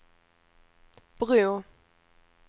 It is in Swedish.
bro